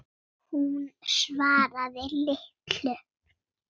Hún svaraði litlu.